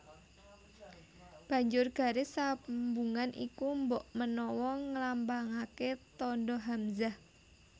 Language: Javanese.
Banjur garis sambungan iku mbokmenawa nglambangaké tandha hamzah